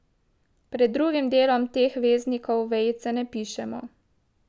Pred drugim delom teh veznikov vejice ne pišemo.